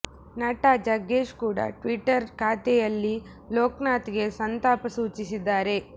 ನಟ ಜಗ್ಗೇಶ್ ಕೂಡ ಟ್ವಿಟ್ಟರ್ ಖಾತೆಯಲ್ಲಿ ಲೋಕ್ನಾಥ್ ಗೆ ಸಂತಾಪ ಸೂಚಿಸಿದ್ದಾರೆ